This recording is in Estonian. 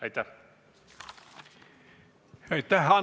Aitäh!